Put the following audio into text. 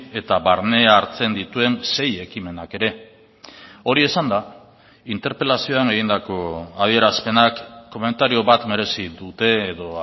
eta barne hartzen dituen sei ekimenak ere hori esanda interpelazioan egindako adierazpenak komentario bat merezi dute edo